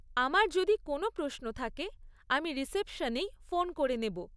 আমার যদি কোনও প্রশ্ন থাকে, আমি রিসেপশনেই ফোন করে নেব।